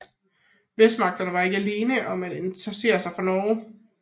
Vestmagterne var ikke alene om at interessere sig for Norge